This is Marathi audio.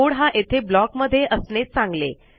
कोड हा येथे ब्लॉक मध्ये असणे चांगले